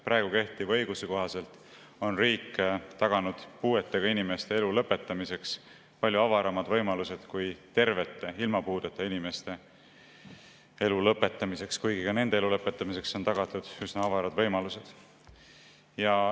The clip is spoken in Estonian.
Kehtiva õiguse kohaselt on riik taganud puudega inimeste elu lõpetamiseks palju avaramad võimalused kui tervete, ilma puudeta inimeste elu lõpetamiseks, kuigi ka nende elu lõpetamiseks on tagatud üsna avarad võimalused.